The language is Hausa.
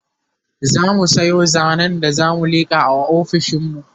zamu Sayo zanen da zamu liƙa a ofishinmu